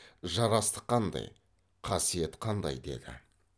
жарастық қандай қасиет қандай деді